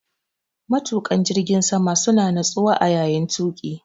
Matuƙan jirgin sama suna natsuwa a yayin tuƙi.